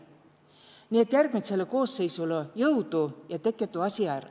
Nii et järgmitsõlõ koosseisulõ jõudu ja tekke tuu asi är.